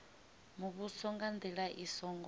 muvhuso nga ndila i songo